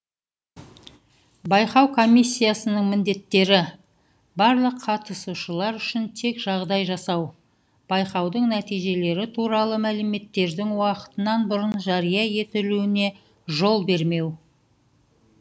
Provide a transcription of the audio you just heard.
байқау комиссияның міндеттері барлық қатысушылар үшін тең жағдай жасау байқаудың нәтижелері туралы мәліметтердің уақытынан бұрын жария етілуіне жол бермеу